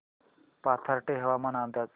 पाथर्डी हवामान अंदाज